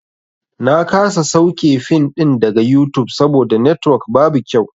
Na kasa sauke fim ɗin daga yutub saboda netwok babu kyau.